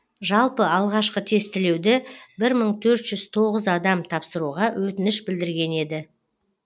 жалпы алғашқы тестілеуді бір мың төрт жүз тоғыз адам тапсыруға өтініш білдірген еді